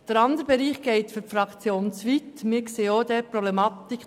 Der andere Bereich geht für die Fraktion glp zu weit.